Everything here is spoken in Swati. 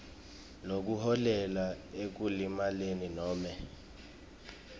lokuholela ekulimaleni nobe